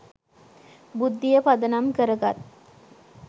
බුද්ධිය පදනම් කරගත්